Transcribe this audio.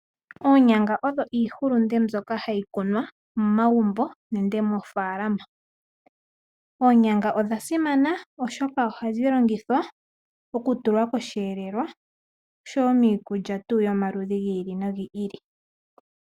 Onyanga odho iihulunde mbyoka hayi kunwa momagumbo nenge moofaalama. Oonyanga odhasimana oshoka ohadhi longithwa okutulwa kosheelelwa oshowo miikulya tu yomaludhi gi ili nogi ili.